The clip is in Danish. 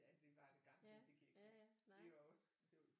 Ja det var det garanteret det kan jeg ikke huske vi var også